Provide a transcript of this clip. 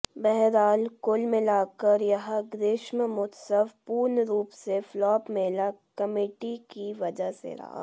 बहरहाल कुल मिलाकर यह ग्रीष्मोत्सव पूर्ण रूप से फ्लाप मेला कमेटी की वजह से रहा